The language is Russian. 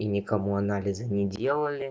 и никому анализы не делали